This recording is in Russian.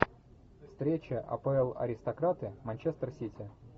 встреча апл аристократы манчестер сити